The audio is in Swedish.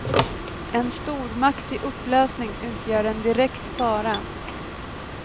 En stormakt i upplösning utgör en direkt fara.